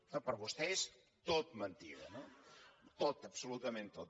clar per vostè és tot mentida no tot absolutament tot